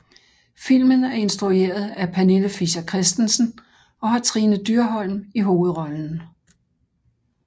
Filmen er instrueret af Pernille Fischer Christensen og har Trine Dyrholm i hovedrollen